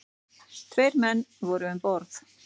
Tveir menn voru um borð.